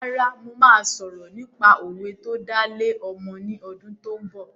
Rárá mo má sọ̀rọ̀ nípa òwe tó dá lé ọmọ ni ọdún tó ń bọ̀